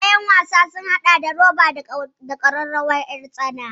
Kayan wasan yara sun haɗa da ƙararrawar roba da kuma ƴartsana